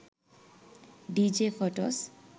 dj photos